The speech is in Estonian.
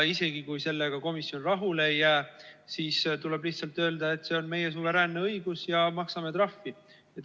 Isegi kui komisjon sellega rahule ei jää, siis tuleb lihtsalt öelda, et see on meie suveräänne õigus ja maksame trahvi.